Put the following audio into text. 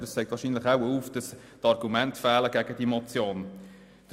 Aber das zeigt wahrscheinlich, dass Argumente gegen diese Motion fehlen.